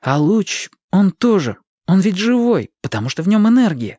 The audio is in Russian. а луч он тоже он ведь живой потому что в нем энергия